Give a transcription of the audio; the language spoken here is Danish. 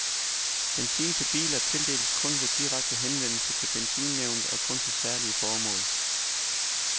Benzin til biler tildeles kun ved direkte henvendelse til benzinnævnet og kun til særlige formål.